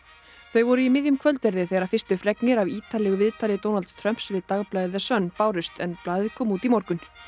þau voru í miðjum kvöldverði þegar fyrstu fregnir af ítarlegu viðtali Donalds Trumps við dagblaðið Sun bárust en blaðið kom út í morgun